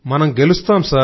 మనం గెలుస్తాం